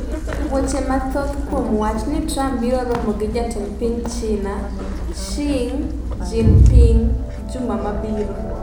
Weche mathoth kuom wach ni Trump biro romo gi jatend piny China Xi Jinping juma mabiro